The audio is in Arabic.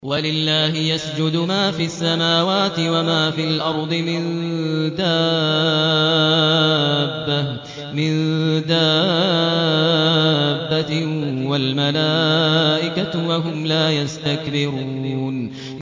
وَلِلَّهِ يَسْجُدُ مَا فِي السَّمَاوَاتِ وَمَا فِي الْأَرْضِ مِن دَابَّةٍ وَالْمَلَائِكَةُ وَهُمْ لَا يَسْتَكْبِرُونَ